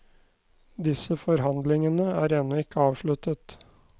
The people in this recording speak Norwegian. Disse forhandlingene er ennå ikke avsluttet.